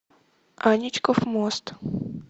аничков мост